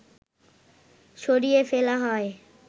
সরিয়ে ফেলা হয়